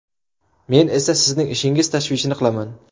Men esa sizning ishingiz tashvishini qilaman.